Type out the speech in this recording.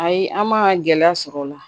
Ayi an ma gɛlɛya sɔr'ɔ la